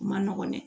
U ma nɔgɔn dɛ